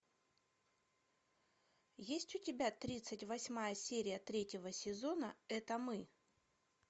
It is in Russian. есть у тебя тридцать восьмая серия третьего сезона это мы